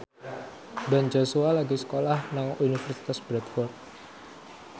Ben Joshua lagi sekolah nang Universitas Bradford